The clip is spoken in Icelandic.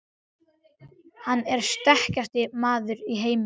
Hann er sterkasti maður í heimi!